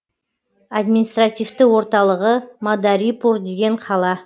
административті орталығы мадарипур деген қала